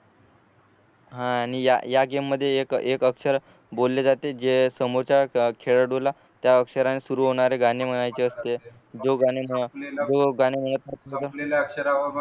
आणि या या गेम मध्ये एक एक अक्षर बोलले जाते जे समोरच्या खेळाडूला त्या अक्षराने सुरु होणारे गाणे म्हणायचे असते जो गाणे